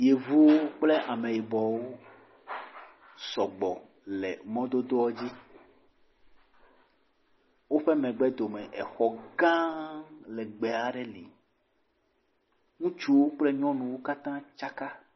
Yevu kple ame yibɔwo ao sɔgbɔ le mɔa dodoa dzi. Woƒe megbe do me exɔ gã legbe aɖe le. Ŋutsuwo kple nyɔnuwo kata tsaka.